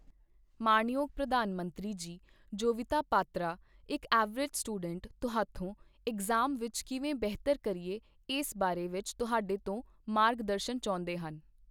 ਮਾਣਯੋਗ ਪ੍ਰਧਾਨ ਮੰਤਰੀ ਜੀ ਜੋਵਿਤਾ ਪਾਤਰਾ ਇੱਕ ਐਵਰੇਜ ਸਟੂਡੈਂਟ ਤੁਹਾਥੋਂ ਇਗਜ਼ਾਮ ਵਿੱਚ ਕਿਵੇਂ ਬਿਹਤਰ ਕਰੀਏ ਇਸ ਬਾਰੇ ਵਿੱਚ ਤੁਹਾਡੇ ਤੋਂ ਮਾਰਗਦਰਸ਼ਨ ਚਾਹੁੰਦੇ ਹਨ।